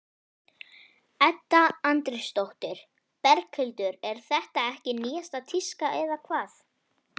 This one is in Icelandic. Edda Andrésdóttir: Berghildur er þetta ekki nýjasta tíska eða hvað?